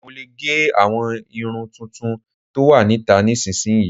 Mo lè gẹ àwọn irun tuntun tó wà níta nísinyi